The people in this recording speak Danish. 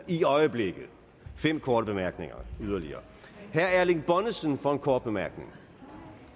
i øjeblikket er fem korte bemærkninger yderligere herre erling bonnesen for en kort bemærkning